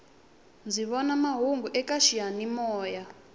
ndzi vona mahungu eka xiyani moya